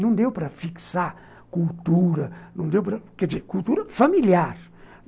Não deu para fixar cultura, não deu para, quer dizer, cultura familiar.